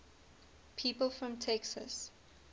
people from texas